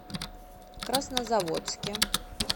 краснозаводске